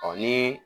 Ɔ ni